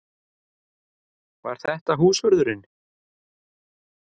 Var þetta húsvörðurinn?